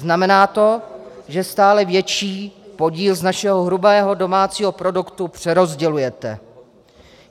Znamená to, že stále větší podíl z našeho hrubého domácího produktu přerozdělujete.